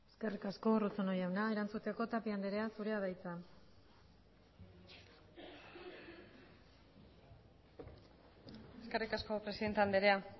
eskerrik asko eskerrik asko urruzuno jauna erantzuteko tapia andrea zurea da hitza eskerrik asko presidente andrea